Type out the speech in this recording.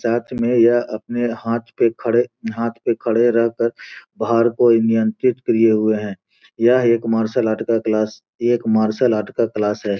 साथ में यह अपने हाथ पे खड़े हाथ पे खड़े रहकर भाड़ को इ नियंत्रित किये हुए है यह एक मार्शल आर्ट्स का क्लास एक मार्शल आर्ट्स का क्लास है।